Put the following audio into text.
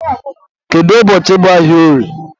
kedu ụbọchị bụ ahịa orie?